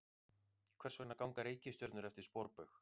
Hvers vegna ganga reikistjörnur eftir sporbaug?